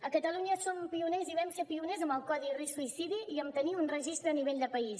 a catalunya som pioners i vam ser pioners amb el codi risc suïcidi i amb tenir un registre a nivell de país